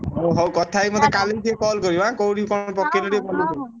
ହଉ କଥା ହେଇକି ମତେ କାଲିକି ଟିକେ call କରିବୁ ଆଁ କୋଉଠି କଣ ପକେଇଲୁ